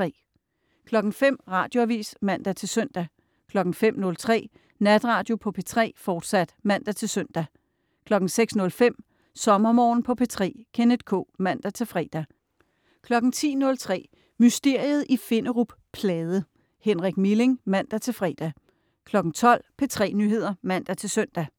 05.00 Radioavis (man-søn) 05.03 Natradio på P3, fortsat (man-søn) 06.05 SommerMorgen på P3. Kenneth K. (man-fre) 10.03 Mysteriet i Finderup Plade. Henrik Milling. (man-fre) 12.00 P3 Nyheder (man-søn)